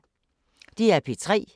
DR P3